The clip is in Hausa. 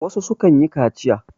wasu sukan yi kaciya